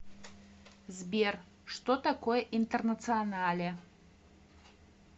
сбер что такое интернационале